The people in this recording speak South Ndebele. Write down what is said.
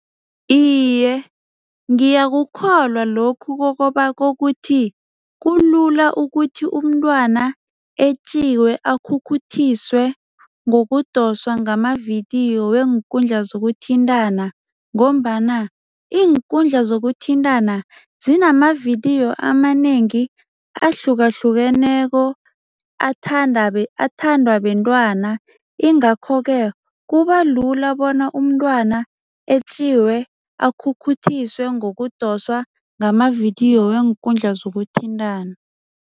Iye, ngiyakukholwa lokhu kokuthi kulula ukuthi umntwana etjiwe, akhukhuthiswe ngokudoswa ngamavidiyo weenkundla zokuthintana ngombana iinkundla zokuthintana zinamavidiyo amanengi ahlukahlukeneko athandwa bentwana ingakho-ke kubalula bona umntwana etjiwe, akhukhuthiswe ngokudoswa ngamavidiyo weenkundla zokuthintana.